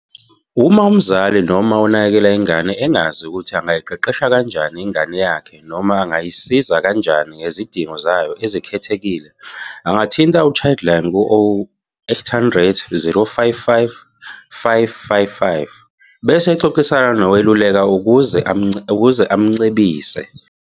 Uma umzali noma onakekela ingane engazi ukuthi angayiqeqesha kanjani ingane yakhe noma angayisiza kanjani ngezidingo zayo ezikhethekile angathinta u-Childline ku- 0800 055 555 bese exoxisana nowelulekayo ukuze amcebise.